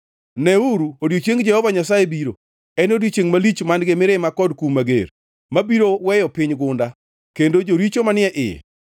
Neuru, odiechieng Jehova Nyasaye biro, en odiechiengʼ malich man-gi mirima kod kum mager, mabiro weyo piny gunda, kendo joricho manie iye.